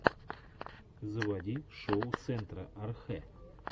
заводи шоу центра архэ